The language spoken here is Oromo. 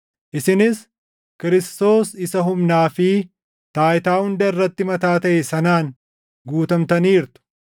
isinis Kiristoos isa humnaa fi taayitaa hunda irratti mataa taʼe sanaan guutamtaniirtu.